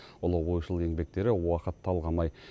ұлы ойшыл еңбектері уақыт талғамай